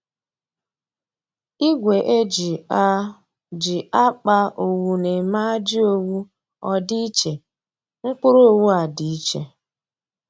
Igwe e ji a ji a kpa owu na-eme ajị owu ọ dị iche, mkpụrụ owu a dị iche